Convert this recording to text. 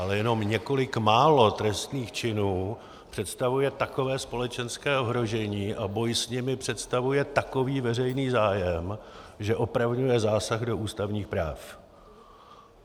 Ale jenom několik málo trestných činů představuje takové společenské ohrožení a boj s nimi představuje takový veřejný zájem, že opravňuje zásah do ústavních práv.